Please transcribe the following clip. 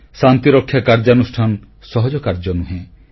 ଶାନ୍ତିରକ୍ଷା କାର୍ଯ୍ୟାନୁଷ୍ଠାନ ସହଜ କାର୍ଯ୍ୟ ନୁହେଁ